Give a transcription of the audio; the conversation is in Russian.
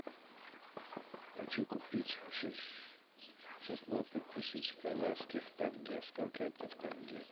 хочу купить шестнадцать тысяч казахских тенге сколько это в тенге